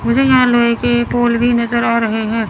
मुझे यहां लोहे के पोल भी नजर आ रहे हैं।